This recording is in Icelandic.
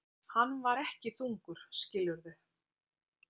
Hann var ekki þungur, skilurðu.